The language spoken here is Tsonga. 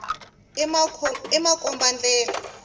i makomba ndlela